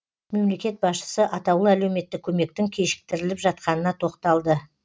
мемлекет басшысы атаулы әлеуметтік көмектің кешіктіріліп жатқанына тоқталды